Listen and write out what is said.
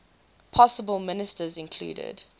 possible ministers included